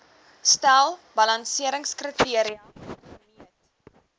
stel balanseringskriteria gemeet